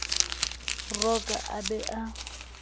mo rokang a be a